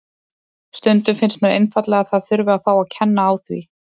Stundum finnst mér einfaldlega að það þurfi að fá að kenna á því.